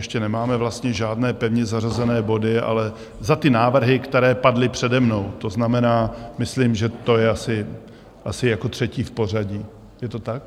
Ještě nemáme vlastně žádné pevně zařazené body - ale za ty návrhy, které padly přede mnou, to znamená, myslím, že to je asi jako třetí v pořadí, je to tak?